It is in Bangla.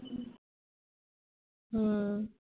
হম